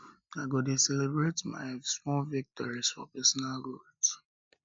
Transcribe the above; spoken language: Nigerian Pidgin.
i go dey celebrate my small victories for personal growth